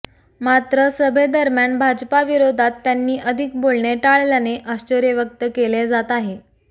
मात्र सभेदरम्यान भाजपा विरोधात त्यांनी अधिक बोलणे टाळल्याने आश्चर्य व्यक्त केले जात आहे